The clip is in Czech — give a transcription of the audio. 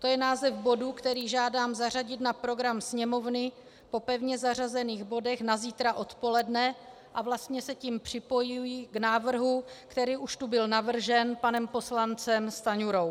To je název bodu, který žádám zařadit na program Sněmovny po pevně zařazených bodech na zítra odpoledne a vlastně se tím připojuji k návrhu, který už tu byl navržen panem poslancem Stanjurou.